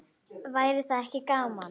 Væri það ekki gaman?